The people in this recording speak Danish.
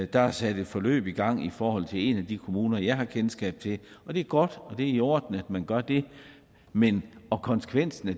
der er sat et forløb i gang i forhold til en af de kommuner som jeg har kendskab til og det er godt og det er i orden at man gør det men konsekvensen af